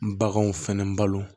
Baganw fɛnɛ balo